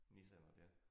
Nissaner der